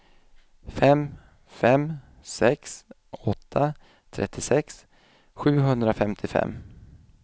fem fem sex åtta trettiosex sjuhundrafemtiofem